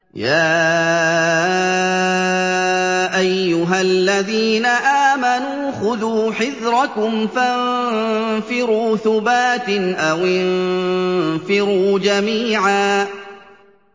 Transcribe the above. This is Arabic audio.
يَا أَيُّهَا الَّذِينَ آمَنُوا خُذُوا حِذْرَكُمْ فَانفِرُوا ثُبَاتٍ أَوِ انفِرُوا جَمِيعًا